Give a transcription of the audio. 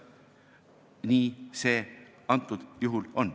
Nii see praegusel juhul on.